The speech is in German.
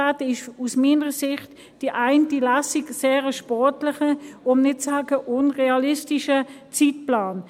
Dann ist aus meiner Sicht die eine Lesung ein sehr sportlicher, um nicht zu sagen: unrealistischer Zeitplan.